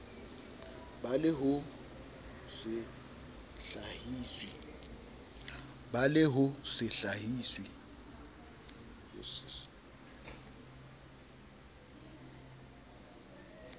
ba le ho se hlahiswe